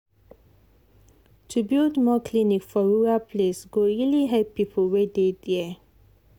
to build more clinic for rural place go really help people wey dey there.